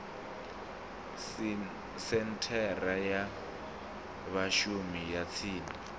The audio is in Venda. senthara ya vhashumi ya tsini